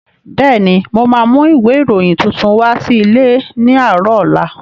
Bẹ́ẹ̀ni, mo ma mú ìwé ìròyìn tuntun wá sí ilé ní àárọ̀ ọ̀la